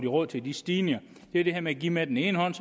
råd til de stigninger det er det her med at give med den ene hånd